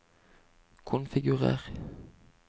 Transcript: konfigurer